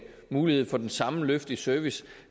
mulighed for det samme løft i service